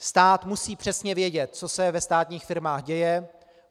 Stát musí přesně vědět, co se ve státních firmách děje.